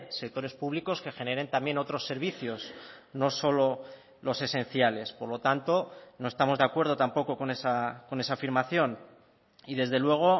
sectores públicos que generen también otros servicios no solo los esenciales por lo tanto no estamos de acuerdo tampoco con esa afirmación y desde luego